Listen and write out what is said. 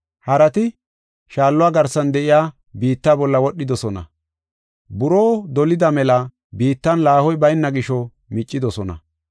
Harati shaalloy garsan de7iya biitta bolla wodhidosona. Buroo dolida mela biittan laahoy bayna gisho miccidosona.